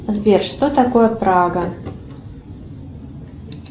сбер что такое прага